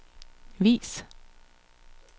vis